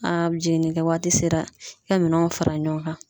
jiginni kɛ waati sera i ka minɛnw fara ɲɔgɔn kan.